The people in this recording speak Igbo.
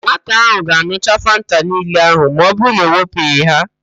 Nwata ahụ ga-an̄ucha Fanta niile ahụ ma ọbụrụ na e wepụghị ha